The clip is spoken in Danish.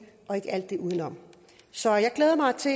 og ikke alt det udenom så jeg glæder mig til